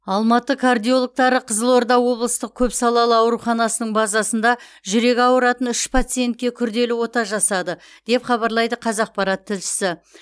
алматы кардиологтары қызылорда облыстық көпсалалы ауруханасының базасында жүрегі ауыратын үш пациентке күрделі ота жасады деп хабарлайды қазақпарат тілшісі